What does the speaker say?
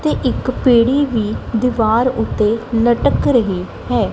ਤੇ ਇੱਕ ਪੀੜੀ ਵੀ ਦੀਵਾਰ ਉੱਤੇ ਲਟਕ ਰਹੀ ਹੈ।